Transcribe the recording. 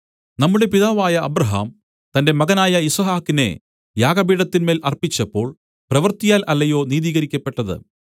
നമ്മുടെ പിതാവായ അബ്രാഹാം തന്റെ മകനായ യിസ്ഹാക്കിനെ യാഗപീഠത്തിന്മേൽ അർപ്പിച്ചപ്പോൾ പ്രവൃത്തിയാൽ അല്ലയോ നീതീകരിക്കപ്പെട്ടത്